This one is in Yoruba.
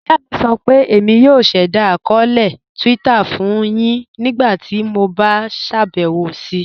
Iyà mi sọ pé Émi yóò ṣẹda akọọlẹ Twitter fun yin ńígbàtí mó bá ṣabẹwo sí.